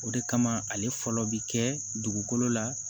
O de kama ale fɔlɔ bi kɛ dugukolo la